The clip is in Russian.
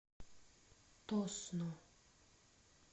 тосно